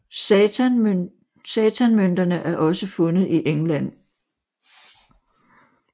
Satanmønterne er også fundet i England